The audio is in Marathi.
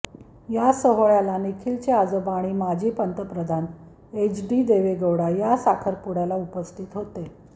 या सोहळ्याला निखिलचे आजोबा आणि माजी पंतप्रधान एचडी देवेगौडा या साखरपुडयाला उपस्थित होते